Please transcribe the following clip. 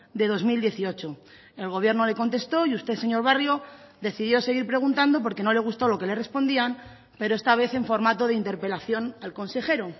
de dos mil dieciocho el gobierno le contestó y usted señor barrio decidió seguir preguntando porque no le gustó lo que le respondían pero esta vez en formato de interpelación al consejero